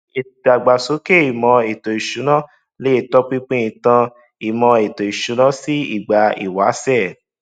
ìdàgbàsókè ìmò ètò ìsúnaa lè tó pínpín ìtàn imo ètò ìsúná sì ìgbà ìwáṣẹ